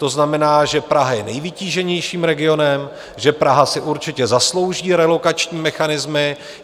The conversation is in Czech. To znamená, že Praha je nejvytíženějším regionem, že Praha si určitě zaslouží relokační mechanismy.